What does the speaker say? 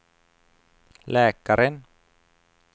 läkaren